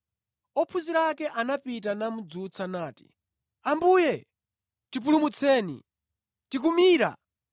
Ophunzira ake anapita namudzutsa nati, “Ambuye! Tipulumutseni! Tikumira!”